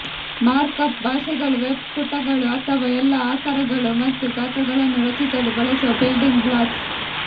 markup ಭಾಷೆಗಳು web ಪುಟಗಳು ಅಥವಾ ಎಲ್ಲಾ ಆಕಾರಗಳು ಮತ್ತು ಗಾತ್ರಗಳನ್ನು ರಚಿಸಲು ಬಳಸುವ ಬಿಲ್ಡಿಂಗ್ ಬ್ಲಾಕ್ಸ್